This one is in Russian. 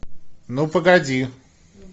ну погоди